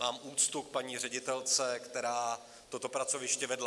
Mám úctu k paní ředitelce, která toto pracoviště vede.